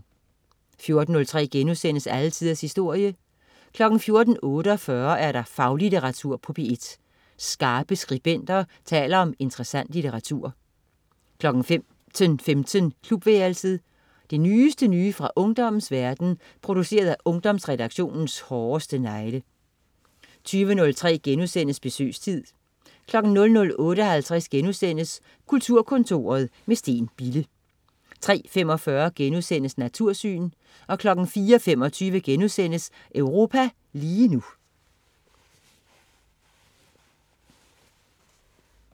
14.03 Alle tiders historie* 14.48 Faglitteratur på P1. Skarpe skribenter taler om interessant litteratur 15.15 Klubværelset. Det nyeste nye fra ungdommens verden, produceret af Ungdomsredaktionens hårdeste negle 20.03 Besøgstid* 00.58 Kulturkontoret med Steen Bille* 03.45 Natursyn* 04.25 Europa lige nu*